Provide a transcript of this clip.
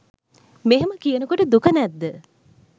මෙහෙම කියනකොට දුක නැද්ද?